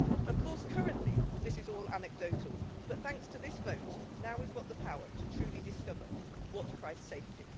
Of course, currently this is all anecdotal, but thanks to this vote, now we've got the power to truly discover what price safety.